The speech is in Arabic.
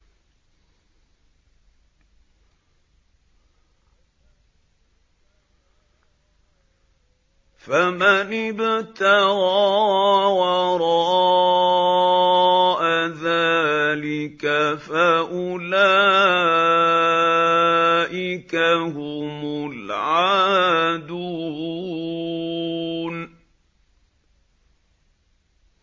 فَمَنِ ابْتَغَىٰ وَرَاءَ ذَٰلِكَ فَأُولَٰئِكَ هُمُ الْعَادُونَ